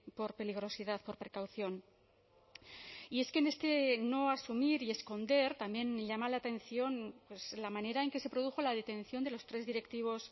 por peligrosidad por precaución y es que en este no asumir y esconder también llama la atención pues la manera en que se produjo la detención de los tres directivos